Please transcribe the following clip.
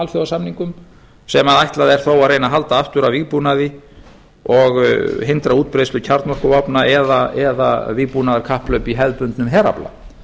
alþjóðasamningum sem ætlað er þó að reyna að halda aftur af vígbúnaði og hindra útbreiðslu kjarnorkuvopna eða vígbúnaðarkapphlaup í hefðbundnum herafla